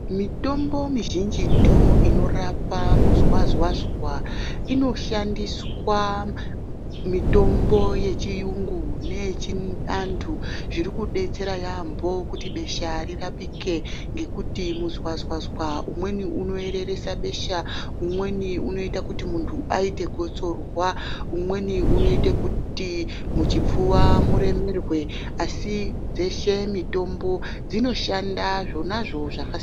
Mitombo mizhinjitu inorapa muzwazwazwa inoshandiswa mitombo yechiyungu neyechiantu zviri kubetsera yaamho kuti besha rirapike. Ngekuti muzwazwazwa umweni unoereresa besha, umweni unoite kuti muntu aite gotsorwa. Umweni unoita kuti muchipfuva muremerwe asi dzeshe mitombo dzinoshanda zvonazvo zvakasiyana-siyana.